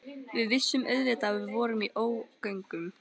Við vissum auðvitað að við vorum í ógöngum.